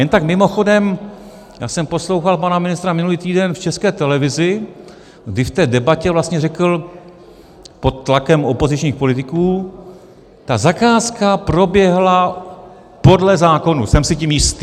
Jen tak mimochodem, já jsem poslouchal pana ministra minulý týden v České televizi, kdy v té debatě vlastně řekl pod tlakem opozičních politiků: Ta zakázka proběhla podle zákonů, jsem si tím jistý.